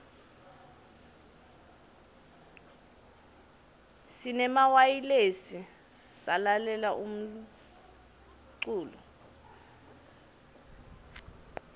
sinemawayilesi salalela umlulo